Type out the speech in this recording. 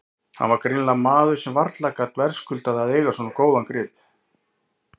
Hann var greinilega maður sem varla gat verðskuldað að eiga svo góðan grip.